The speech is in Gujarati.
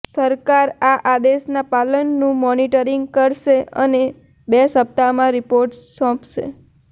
સરકાર આ આદેશના પાલનનું મોનિટરિંગ કરશે અને બે સપ્તાહમાં રિપોર્ટ સોંપશે